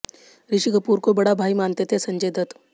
ऋषि कपूर को बड़ा भाई मानते थे संजय दत्त